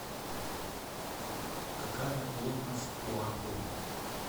какая плотность у аргон